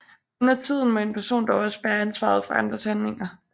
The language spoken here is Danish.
Undertiden må en person dog også bære ansvaret for andres handlinger